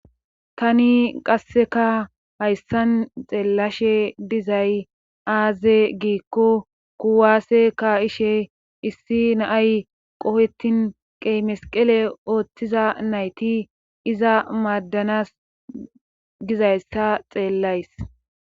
tani qasseka hayssan xeellashe dizay aaze giikko kuwaase ka ishe issi naay qohetin qeymesqele ooththiza nayti iza maadanas gizayssa xeellays